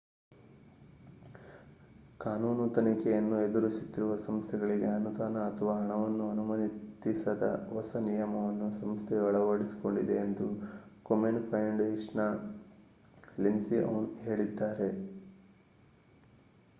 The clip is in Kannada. ಕಾನೂನು ತನಿಖೆಯನ್ನು ಎದುರಿಸುತ್ತಿರುವ ಸಂಸ್ಥೆಗಳಿಗೆ ಅನುದಾನ ಅಥವಾ ಹಣವನ್ನು ಅನುಮತಿಸದ ಹೊಸ ನಿಯಮವನ್ನು ಸಂಸ್ಥೆಯು ಅಳವಡಿಸಿಕೊಂಡಿದೆ ಎಂದು ಕೊಮೆನ್‌ ಫೌಂಡೇಶನ್‌ನ ವಕ್ತಾರ ಲೆಸ್ಲಿ ಔನ್‌ ಹೇಳಿದ್ದಾರೆ